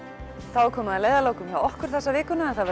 þá er komið að leiðarlokum hjá okkur þessa vikuna en það